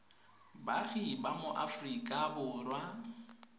baagi ba mo aforika borwa